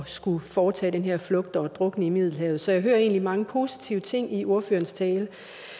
skulle foretage den her flugt og drukne i middelhavet så jeg hører egentlig mange positive ting i ordførerens tale